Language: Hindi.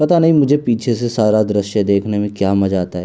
पता नहीं मुझे पीछे से सारा दॄश्य देखने में क्या मजा आता है।